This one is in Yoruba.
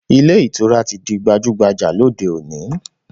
Ilé ìtura ti di gbajúgbajà lóde òní